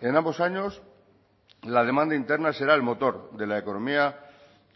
en ambos años la demanda interna será el motor de la economía